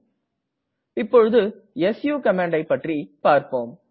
சு என்பது ஸ்விட்ச் Userஐ குறிக்கிறது